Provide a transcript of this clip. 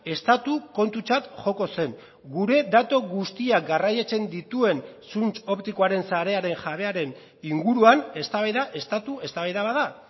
estatu kontutzat joko zen gure datu guztiak garraiatzen dituen zuntz optikoaren sarearen jabearen inguruan eztabaida estatu eztabaida bat da